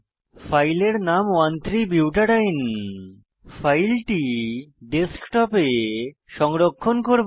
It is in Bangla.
ফাইলের নাম 13 বুটাডিন ফাইলটি ডেস্কটপে সংরক্ষণ করব